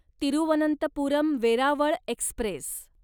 Thiruvananthapuram Veraval Express